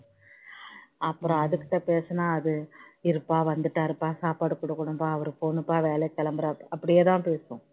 அப்பறோம் அது கிட்ட பேசுனா அது இருப்பா வந்துட்டாருப்பா சாப்பாடு கொடுக்கணும்பா அவரு போணும்பா வேலைக்கு கிளம்பனும் அப்படியே தான் பேசும்